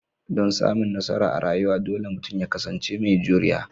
Dan samun nasara a rayuwa, dole mutum ya kasance mai juriya